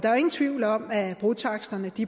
er jo ingen tvivl om at brotaksterne